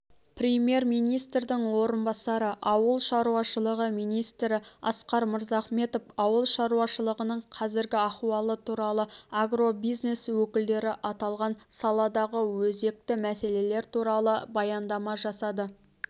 премьер-министрдің орынбасары ауыл шаруашылығы министрі асқар мырзахметов ауыл шаруашылығының қазіргі ахуалы туралы агробизнес өкілдері аталған саладағы өзекті мәселелер туралы баяндама жасады